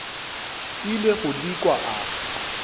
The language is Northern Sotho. ile go di kwa a